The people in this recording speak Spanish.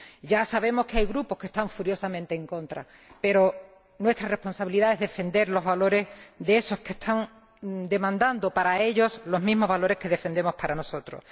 Ya sabemos que hay grupos que están furiosamente en contra, pero nuestra responsabilidad es defender los valores de los que están demandando para ellos los mismos valores que defendemos para nosotros.